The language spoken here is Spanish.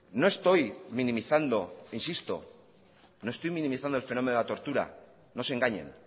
no estoy minimizando insisto no estoy minimizando el fenómeno de la tortura no se engañen